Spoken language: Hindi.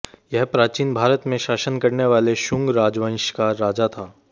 यह प्राचीन भारत में शासन करने वाले शुंग राजवंश का राजा था